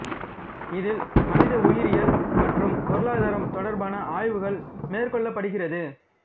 இதில் மனித உயிரியல் மற்றும் பொருளாதாரம் தொடர்பான ஆய்வுகள் மேற்கொள்ளப்படுகிறது